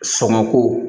Sɔngɔ ko